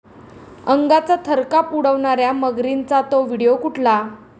अंगाचा थरकाप उडवणाऱ्या मगरींचा 'तो' व्हिडिओ कुठला?